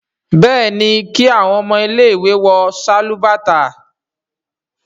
béèni kí awọn ọmọ ile-iwe wọ Sálúbàtà.